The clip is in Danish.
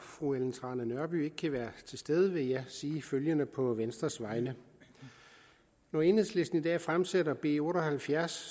fru ellen trane nørby ikke kan være til stede vil jeg sige følgende på venstres vegne når enhedslisten i dag fremsætter b otte og halvfjerds